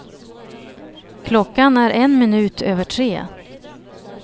Klockan är en minut över tre.